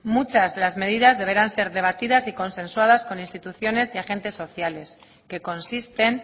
muchas de las medidas deberán ser debatidas y consensuadas con instituciones y agentes sociales que consisten